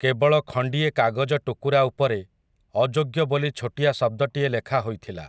କେବଳ ଖଣ୍ଡିଏ କାଗଜ ଟୁକୁରା ଉପରେ, 'ଅଯୋଗ୍ୟ' ବୋଲି ଛୋଟିଆ ଶବ୍ଦଟିଏ ଲେଖା ହୋଇଥିଲା ।